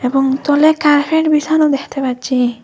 এবং তলায় কার্ফেট বিসানো দেখতে পাচ্ছি।